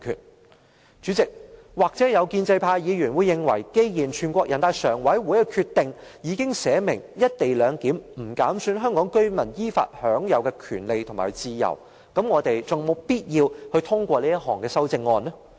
代理主席，建制派議員或會認為，既然人大常委會的決定已經訂明"一地兩檢"安排"不減損香港特別行政區居民依法享有的權利和自由"，我們還有否必要通過這項修正案呢？